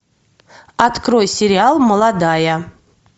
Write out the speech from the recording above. открой сериал молодая